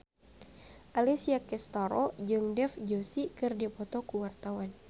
Alessia Cestaro jeung Dev Joshi keur dipoto ku wartawan